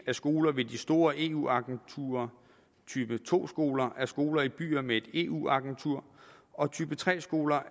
er skoler ved de store eu agenturer type to skoler er skoler i byer med et eu agentur og type tre skoler